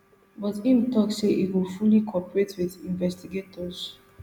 but im tok say e go fully cooperate wit investigators